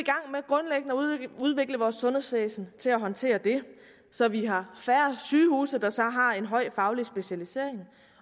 i vores sundhedsvæsen til at håndtere det så vi har færre sygehuse der så har en høj faglig specialisering